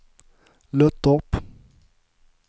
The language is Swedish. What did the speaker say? Löttorp